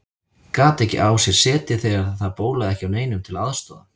Gat ekki á sér setið þegar það bólaði ekki á neinum til að aðstoða hann.